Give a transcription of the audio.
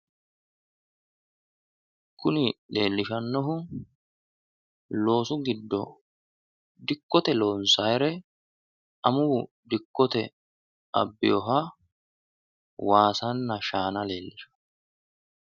Kuni leellishannohu loosu giddo dikkote loonsaayiire amuwu dikkote abbeha waasanna shaana leellishanno.